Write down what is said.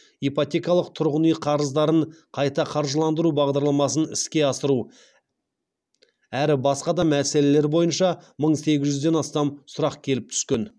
ипотекалық тұрғын үй қарыздарын қайта қаржыландыру бағдарламасын іске асыру әрі басқа да мәселелер бойынша мың сегіз жүзден астам сұрақ келіп түскен